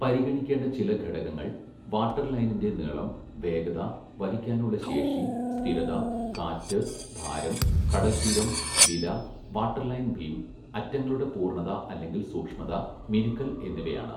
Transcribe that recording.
പരിഗണിക്കേണ്ട ചില ഘടകങ്ങൾ വാട്ടർലൈനിൻ്റെ നീളം, വേഗത, വഹിക്കാനുള്ള ശേഷി, സ്ഥിരത, കാറ്റ്, ഭാരം, കടൽത്തീരം, വില, വാട്ടർലൈൻ ബീം, അറ്റങ്ങളുടെ പൂർണ്ണത അല്ലെങ്കിൽ സൂക്ഷ്മത, മിനുക്കൽ എന്നിവയാണ്.